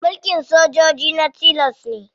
Mulkin sojoji na tilas ne.